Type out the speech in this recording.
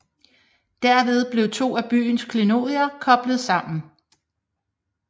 Derved blev to af byens klenodier koblet sammen